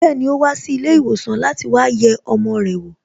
Bẹẹni, o wa si ilé ìwòsàn láti wá yẹ ọmọ rẹ̀ wo